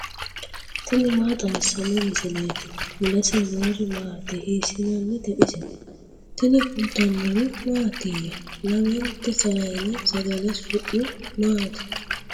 tini maa xawissanno misileeti ? mulese noori maati ? hiissinannite ise ? tini kultannori mattiya? Lamennte sayiine sagale su'mi maatti?